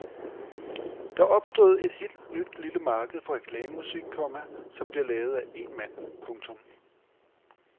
Der er opstået et helt nyt lille marked for reklamemusik, komma som bliver lavet af én mand. punktum